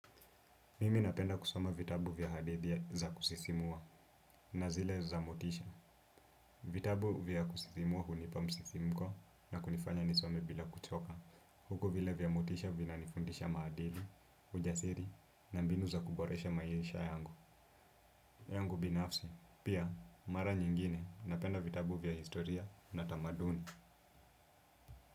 Mimi napenda kusoma vitabu vya hadithi za kusisimua na zile za motisha. Vitabu vya kusisimua hunipa msisimko na kunifanya nisome bila kuchoka. Huku vile vya motisha vina nifundisha maadili, ujasiri na mbinu za kuboresha maisha yangu. Yangu binafsi, pia mara nyingine napenda vitabu vya historia na tamaduni.